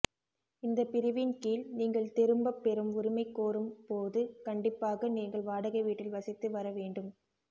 இந்தப் பிரிவின் கீழ் நீங்கள் திரும்பப்பெறும் உரிமை கோரும் போது கண்டிப்பாக நீங்கள் வாடகை வீட்டில் வசித்து வர வேண்டும்